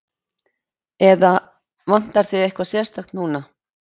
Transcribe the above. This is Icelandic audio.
Eða, vantar þig eitthvað sérstakt núna?